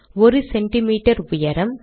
1 cm உயரம்